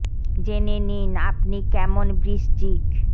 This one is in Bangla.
জে নে নি ন আ প নি কে ম ন বৃ শ্চি ক